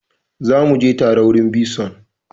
Za mu je tare wurin bison!